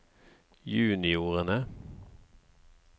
juniorene